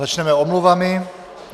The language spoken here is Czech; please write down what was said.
Začneme omluvami.